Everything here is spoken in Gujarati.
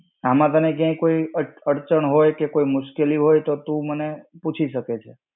આમ તને ક્યાંય કોઈ અડચણ હોય કે મુશ્કેલી હોય તો તું મને પૂછી શકે છે.